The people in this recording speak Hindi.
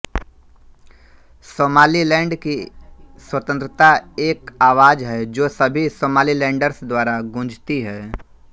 सोमालिलैंड की स्वतंत्रता एक आवाज़ है जो सभी सोमालीलैंडर्स द्वारा गूँजती है